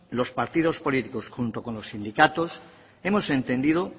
los partidos políticos junto con los sindicatos hemos entendido